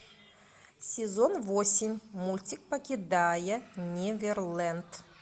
сезон восемь мультик покидая неверленд